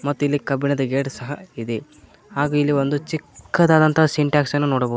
ತ್ತಿಲಿ ಕಬ್ಬಿಣದ ಗೇಟ್ ಸಹ ಇದೆ ಹಾಗು ಇಲ್ಲಿ ಒಂದು ಚಿಕ್ಕದಾದಂತ ಸಿಂಟೆಕ್ಸ್ ಅನ್ನ ನೋಡಬ--